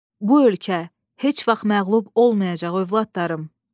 Bu ölkə heç vaxt məğlub olmayacaq övladlarım.